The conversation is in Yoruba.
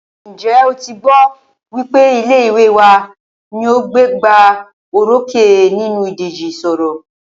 Ǹjẹ́ o tí gbọ́ wípé ilé ìwé wa ní o gbégbá orókè nínú ìdíje ìṣọ̀rọ̀?